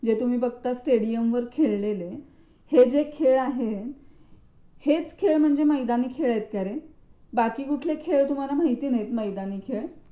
जे तुम्ही बघता स्टेडियमवर खेळलेले हे जे खेळ आहेत हेच खेळ म्हणजे मैदानी खेळ आहेत का रे? बाकी कुठले खेळ तुम्हाला माहित नाही मैदानी खेळ?